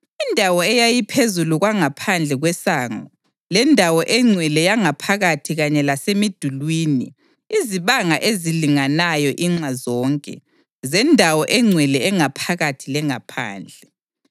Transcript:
Indawo eyayiphezu kwangaphandle kwesango lendawo engcwele yangaphakathi kanye lasemidulini izibanga ezilinganayo inxa zonke zendawo engcwele engaphakathi lengaphandle